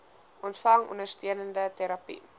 ontvang ondersteunende terapie